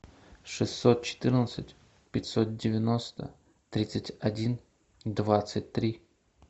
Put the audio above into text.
шестьсот четырнадцать пятьсот девяносто тридцать один двадцать три